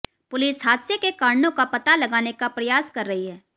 police हादसे के कारणों का पता लगाने का प्रयास कर रही है